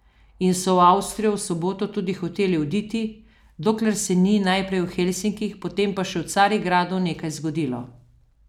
In so v Avstrijo v soboto tudi hoteli oditi, dokler se ni, najprej v Helsinkih, potem pa še v Carigradu, nekaj zgodilo.